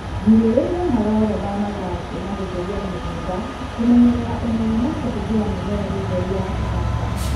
Gĩrĩria maroro mamathangũ nagũtheria mũgunda ,kũmenyerera ũnoru na kũhũthĩra mĩmera mĩtheru ya kũhanda.